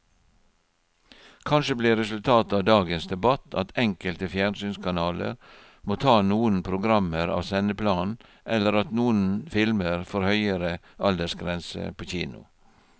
Kanskje blir resultatet av dagens debatt at enkelte fjernsynskanaler må ta noen programmer av sendeplanen eller at noen filmer får høyere aldersgrense på kino.